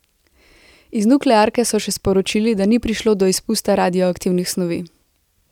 Iz nuklearke so še sporočili, da ni prišlo do izpusta radioaktivnih snovi.